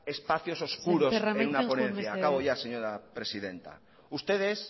espacios oscuros en una ponencia sémper jauna joan amaitzen mesedez acabo ya señora presidenta ustedes